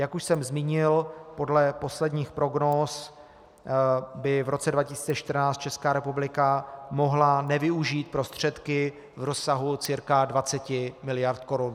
Jak už jsem zmínil, podle posledních prognóz by v roce 2014 Česká republika mohla nevyužít prostředky v rozsahu cca 20 miliard korun.